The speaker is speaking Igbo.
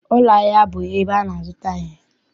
Ụlọahịa bụ ebe a na-azụta ihe.